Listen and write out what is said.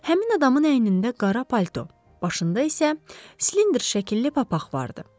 Həmin adamın əynində qara palto, başında isə silindr şəkilli papaq vardı.